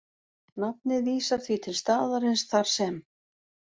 Nafnið vísar því til staðarins þar sem